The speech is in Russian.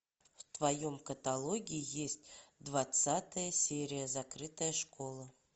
в твоем каталоге есть двадцатая серия закрытая школа